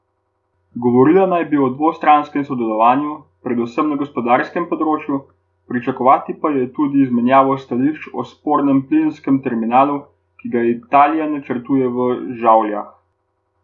Govorila naj bi o dvostranskem sodelovanju, predvsem na gospodarskem področju, pričakovati pa je tudi izmenjavo stališč o spornem plinskem terminalu, ki ga Italija načrtuje v Žavljah.